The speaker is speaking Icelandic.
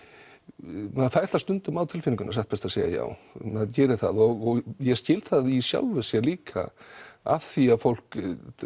maður fær það stundum á tilfinninguna satt best að segja maður gerir það og ég skil það í sjálfu sér líka af því að fólk